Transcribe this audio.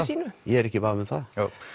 sínu ég er ekki í vafa um það